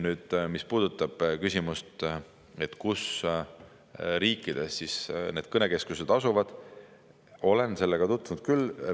Nüüd, mis puudutab küsimust, kus riikides need kõnekeskused asuvad, siis olen sellega tutvunud küll.